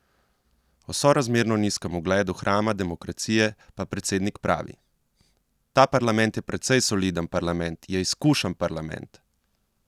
O sorazmerno nizkem ugledu hrama demokracije pa predsednik pravi: "Ta parlament je precej soliden parlament, je izkušen parlament.